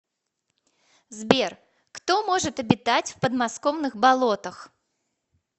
сбер кто может обитать в подмосковных болотах